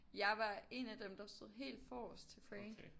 Jeg var en af dem der stod helt forrest til Frank